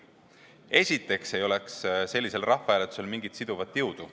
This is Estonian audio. Esiteks ei oleks sellisel rahvahääletusel mingit siduvat jõudu.